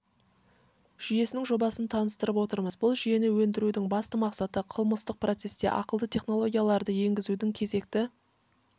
жүйесінің жобасын таныстырып отырмыз бұл жүйені өндірудің басты мақсаты қылмыстық процеске ақылды технологияларды енгізудің кезекті